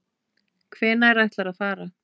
Hvenær ætlarðu að fara?